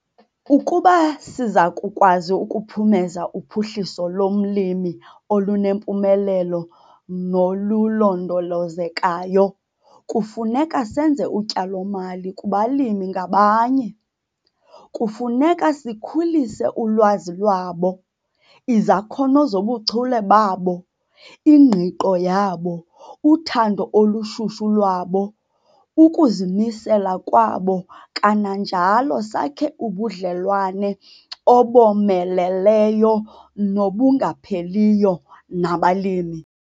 Ukuba siza kukwazi ukuphumeza uphuhliso lomlimi olunempumelelo nolulondolozekayo, kufuneka senze utyalo-mali kubalimi ngabanye. Kufuneka sikhulise ulwazi lwabo, izakhono zobuchule babo, ingqiqo yabo, uthando olushushu lwabo, ukuzimisela kwabo kananjalo sakhe ubudlelwane obomeleleyo nobungapheliyo nabalimi.